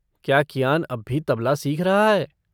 क्या कियान अब भी तबला सीख रहा है?